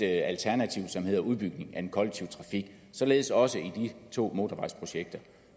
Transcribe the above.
alternativ som hedder udbygning af den kollektive trafik således også i de to motorvejsprojekter